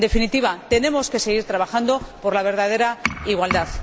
En definitiva, tenemos que seguir trabajando por la verdadera igualdad.